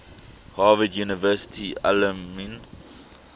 harvard university alumni